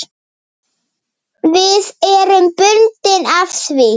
Við erum bundin af því.